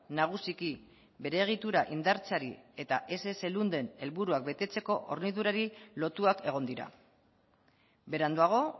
nagusiki bere egitura indartzeari eta ess lunden helburuak betetzeko hornidurari lotuak egon dira beranduago